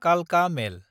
कालका मेल